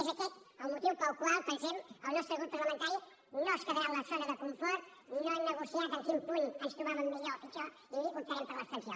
és aquest el motiu pel qual pensem el nostre grup parlamentari no es quedarà en la zona de confort no hem negociat en quin punt ens trobàvem millor o pitjor i optarem per l’abstenció